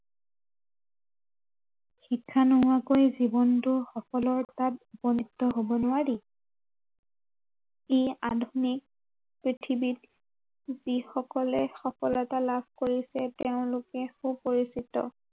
শিক্ষা নোহোৱাকৈ জীৱনটো সফলতাৰ উপনীত হব নোৱাৰি এই আধুনিক পৃথিৱীত যি সকলে সফলতা লাভ কৰিছে তেওঁলোকে সুপৰিচিত